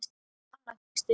Anna Kristín